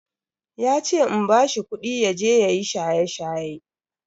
Yace in bashi kudi yaje yayi shaye-shaye.